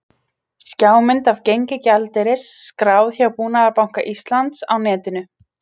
Skjámynd af gengi gjaldeyris, skráð hjá Búnaðarbanka Íslands á netinu